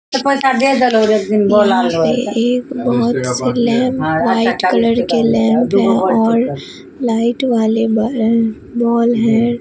यहां पे एक बहुत से लैंप व्हाईट कलर के लैंप हैं और लाइट वाले बल बॉल हैं।